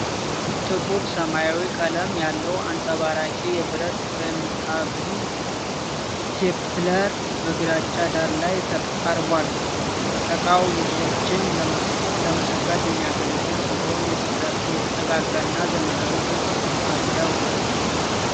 ጥቁር ሰማያዊ ቀለም ያለው አንጸባራቂ የብረት ቅንጣቢ (ስቴፕለር) በግራጫ ዳራ ላይ ቀርቧል። ዕቃው ሉኮችን ለመሰካት የሚያገለግል ሲሆን፥ የተጠጋጋና ዘመናዊ ቅርጽ አለው።